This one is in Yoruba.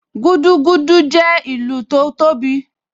Gúdúgúdú jẹ́ ìlù tó tóbi